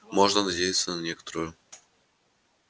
можно надеяться на некоторую